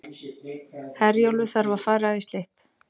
Herjólfur þarf að fara í slipp